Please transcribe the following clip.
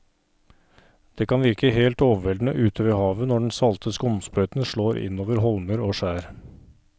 Det kan virke helt overveldende ute ved havet når den salte skumsprøyten slår innover holmer og skjær.